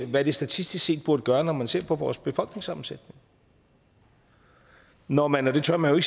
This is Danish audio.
hvad det statistisk set burde gøre når man ser på vores befolkningssammensætning når man og det tør man